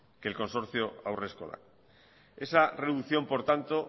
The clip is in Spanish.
que el consorcio haurreskolak esa reducción por tanto